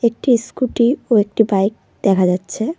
একটি ইস্কুটি ও একটি বাইক দেখা যাচ্ছে।